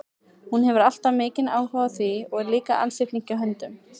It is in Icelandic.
Hún hefur alltaf haft mikinn áhuga á því og er líka ansi flink í höndunum.